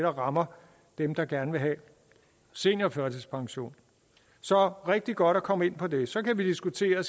rammer dem der gerne vil have seniorførtidspension så rigtig godt at komme ind på det så kan vi diskutere